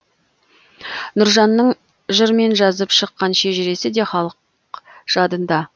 нұржанның жырмен жазып шыққан шежіресі де халық жадында